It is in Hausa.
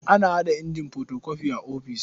Ana haɗa injin fotokofi a ofis.